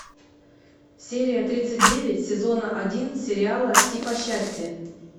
серия тридцать девять сезона один сериал типа счастье